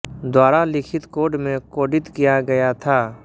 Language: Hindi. द्वारा लिखित कोड में कोडित किया गया था